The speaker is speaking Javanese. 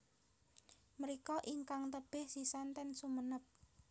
Mriko ingkang tebih sisan ten Sumenep